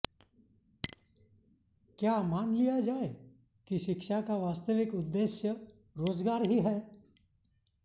क्या मान लिया जाय कि शिक्षा का वास्तविक उद्देश्य रोजगार ही है